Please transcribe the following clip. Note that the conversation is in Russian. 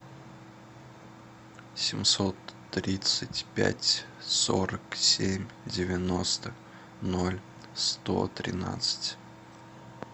семьсот тридцать пять сорок семь девяносто ноль сто тринадцать